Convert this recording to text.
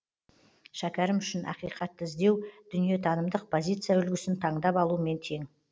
шәкерім үшін ақиқатты іздеу дүниетанымдық позиция үлгісін таңдап алумен тең